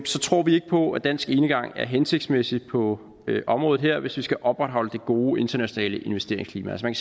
tror vi ikke på at dansk enegang er hensigtsmæssig på området her hvis vi skal opretholde det gode internationale investeringsklima man